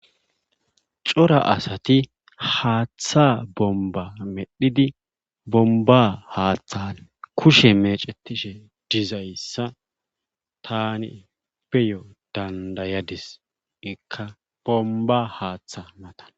cora asati haaththa bomba medhidi bomba haaththan kushe mecetishe dizayssa tani peyo dandayadis ikka bomba haaththa matan